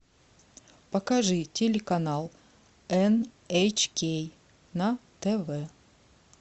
покажи телеканал эн эйч кей на тв